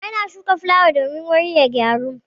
Ana shuka fulawa domin wuri ya yi gyau.